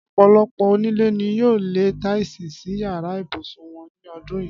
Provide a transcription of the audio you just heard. Ọ̀pọ̀lọpọ̀ onílé ni yóò lẹ táìsì sí yàrá ibùsùn wọn ní ọdún yìí